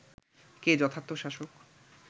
কে যথার্থ শাসক